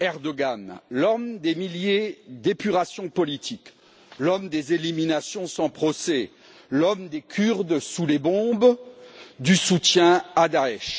Erdogan, l'homme des milliers d'épurations politiques, l'homme des éliminations sans procès, l'homme des Kurdes sous les bombes, du soutien à Daech.